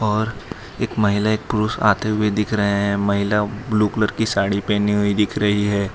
और एक महिला एक पुरुष आते हुए दिख रहे हैं महिला ब्लू कलर की साड़ी पहनी हुई भी दिख रही है।